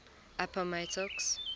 appomattox